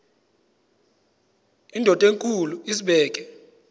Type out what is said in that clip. indod enkulu izibeke